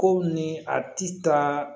Ko ni a ti taa